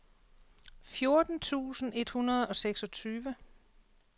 fjorten tusind et hundrede og seksogtyve